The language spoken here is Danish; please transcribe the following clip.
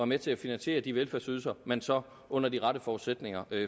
med til at finansiere de velfærdsydelser man så under de rette forudsætninger